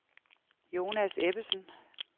Jonas Ebbesen